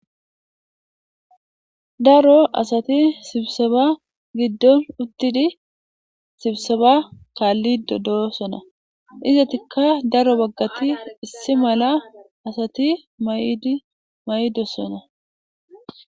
daro asati sibseba giddon uttidi sibseba kaallido dosona izatikka daro baggati issi mala asati mayidi mayiidossona